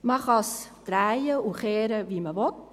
Man kann es drehen und wenden, wie man will: